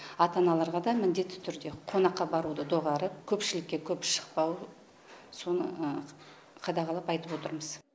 ата аналарға да міндетті түрде қонаққа баруды доғарып көпшілікке көп шықпау соны қадағалап айтып отырмыз